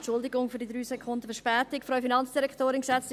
Entschuldigung für die 3 Sekunden Verspätung.